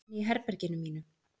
Inni í herberginu mínu.